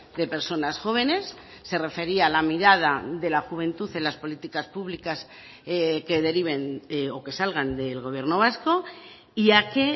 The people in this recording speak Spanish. de personas jóvenes se refería a la mirada de la juventud en las políticas públicas que deriven o que salgan del gobierno vasco y a que